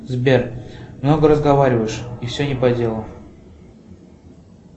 сбер много разговариваешь и все не по делу